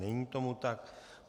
Není tomu tak.